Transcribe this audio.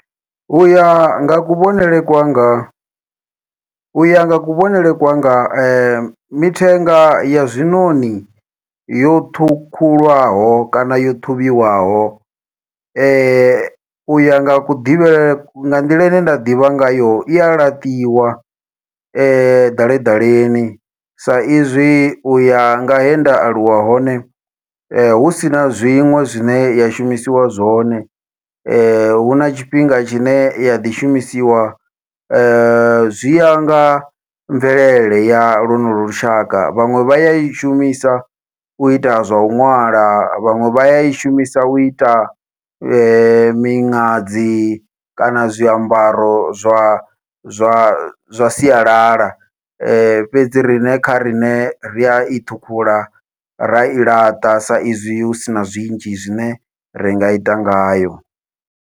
Uya nga kuvhonele kwanga uya nga kuvhonele kwanga mithenga ya zwiṋoṋi yo ṱhukhulwaho kana yo ṱhuvhiwaho, uya nga kuḓivhele nga nḓila ine nda ḓivha ngayo iya laṱiwa ḓaleḓaleni sa izwi uya nga he nda aluwa hone, husina zwiṅwe zwine ya shumisiwa zwone. Huna tshifhinga tshine ya ḓi shumisiwa zwi ya nga mvelele ya lonolo lushaka, vhaṅwe vhaya i shumisa uita zwau ṅwala vhaṅwe vha yai shumisa uita miṅadzi kana zwiambaro zwa zwa zwa sialala, fhedzi riṋe kha riṋe ri ai ṱhukhula rai laṱa sa izwi husina zwinzhi zwine ringa ita ngayo.